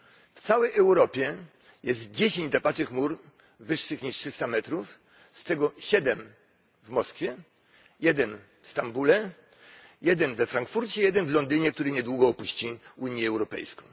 W całej Europie jest dziesięć drapaczy chmur wyższych niż 300 m, z czego 7 w Moskwie, jeden w Stambule, jeden we Frankfurcie, jeden w Londynie, który niedługo opuści Unię Europejską.